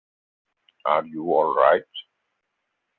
Are you allright?